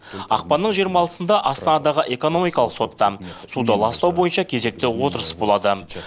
ақпанның жырма алтысында астанадағы экономикалық сотта суды ластау бойынша кезекті отырыс болады